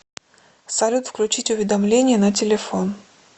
салют включить уведомления на телефон